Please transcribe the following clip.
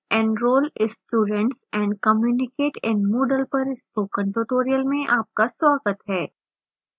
enroll students and communicate in moodle पर spoken tutorial में आपका स्वागत है